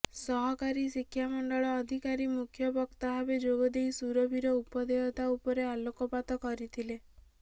ସହକାରୀ ଶିକ୍ଷା ମଣ୍ଡଳ ଅଧିକାରୀ ମୁଖ୍ୟ ବକ୍ତା ଭାବେ ଯୋଗ ଦେଇ ସୁରଭିର ଉପାଦେୟତା ଉପରେ ଆଲୋକପାତ କରିଥିଲେ